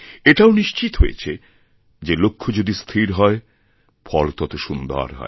এটাও নিশ্চিত হয়েছে যে লক্ষ্য যদি স্থির হয় ফল তত সুন্দর হয়